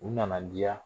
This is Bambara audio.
U nana diya